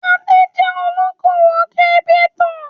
Adé jẹ́ olókòwò kírípító.